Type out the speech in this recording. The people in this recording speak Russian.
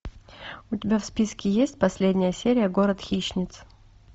у тебя в списке есть последняя серия город хищниц